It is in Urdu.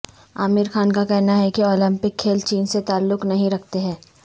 عامر خان کا کہنا ہے کہ اولمپک کھیل چین سے تعلق نہیں رکھتے ہیں